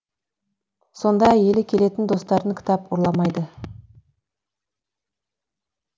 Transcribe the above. сонда әйелі келетін достарын кітап ұрламайды